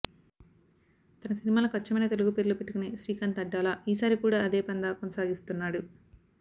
తన సినిమాలకి అచ్చమైన తెలుగు పేర్లు పెట్టుకునే శ్రీకాంత్ అడ్డాల ఈసారి కూడా అదే పంథా కొనసాగిస్తున్నాడు